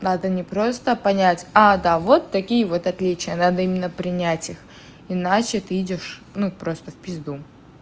надо не просто понять а да вот такие вот отличия надо именно принять их иначе ты идёшь ну просто в пизду